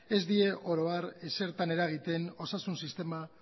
ez die oro har ezertan eragiten osasun sistema